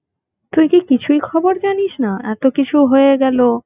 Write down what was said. তুই কি কিছুই খবর জানিস না এতো কিছু হয়ে গেল